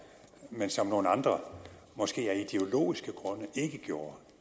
men som nogle andre måske af ideologiske grunde ikke gjorde